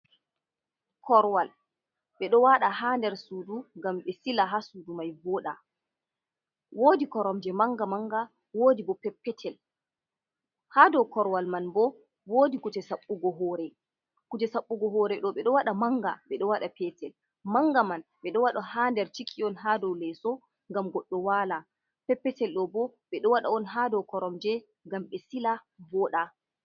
Korowal ɓedo waɗa ha nder sudu ngam ɓe sila ha sudumai voɗa, wodi koromje manga manga wodi bo peppetel, ha dow korowal man bo wodi kuje saɓɓugo ha hore, kuje saɓɓugo hore ɗo ɓedo waɗa manga ɓedo waɗa petel, manga man ɓeɗo waɗa ha dow leso ha sudu petel man bo ɓedo wata ha palo.